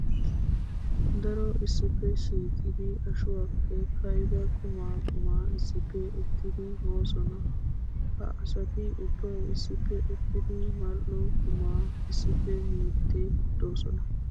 Daro issippe shiiqiddi ashuwappe ka'idda qumma qumma issippe uttiddi moosonna. Ha asatti ubbay issippe uttiddi mal'o quma issippe miide de'osonna.